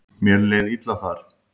Mér leið illa þar.